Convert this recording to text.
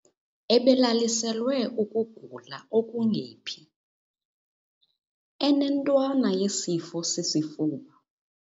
Ebelaliselwe ukugula okungephi. inentwana yesifo sesesifuba